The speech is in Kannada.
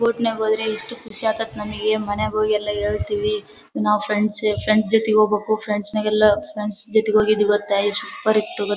ಬೋಟ್ ನಾಗ್ ಹೋದ್ರೆ ಎಷ್ಟು ಖುಷಿ ಆಕತ್ ನಮ್ಮಗೆ ಮನೆಗೆ ಹೋಗಿ ಎಲ್ಲಾ ಯೊಳ್ತಿವಿ ನಾವು ಫ್ರೆಂಡ್ಸ್ ಫ್ರೆಂಡ್ಸ್ ಜೊತೆ ಹೋಗಬೇಕು ಫ್ರೆಂಡ್ಸ್ ನಗೆಲ್ಲಾ ಫ್ರೆಂಡ್ಸ್ ಜೊತೆಗೆ ಹೋಗಿದೀವಿ ಗೊತ್ತಾಯ್ ಸೂಪರ್ ಇತ್ತು ಗೊ .